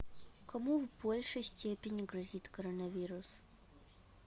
кому в большей степени грозит коронавирус